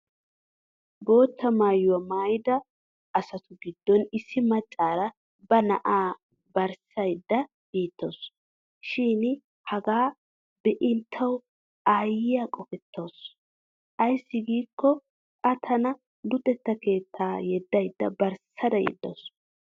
Bootta maayuwa maayida asatu giddon issi maccaara ba na'aa barssayidda beettawusu. Shin hagaa be'in tawu aayyiya qofettaasu ayssi giikko a tana luxetta keettaa yeddaydda barssada yeddawusu.